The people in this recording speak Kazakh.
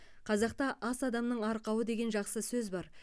қазақта ас адамның арқауы деген жақсы сөз бар